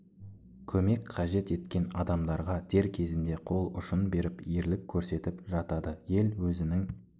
көмек қажет еткен адамдарға дер кезінде қол ұшын беріп ерлік көрсетіп жатады ел өзінің